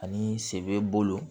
Ani sen bɛ bolo